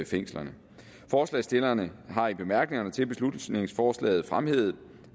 fængslerne forslagsstillerne har i bemærkningerne til beslutningsforslaget fremhævet